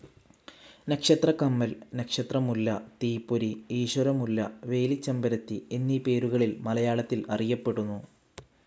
നക്ഷത്രക്കമ്മൽ, നക്ഷത്ര മുല്ല, തീപ്പൊരി, ഈശ്വര മുല്ല, വേലിച്ചെമ്പരത്തി എന്നീ പേരുകളിൽ മലയാളത്തിൽ അറിയപ്പെടുന്നു.